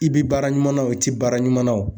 I bi baara ɲuman na o ti baara ɲuman na o.